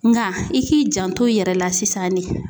Nka i k'i janto i yɛrɛ la sisan ne.